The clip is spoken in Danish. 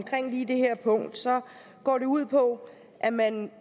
lige det her punkt går det ud på at man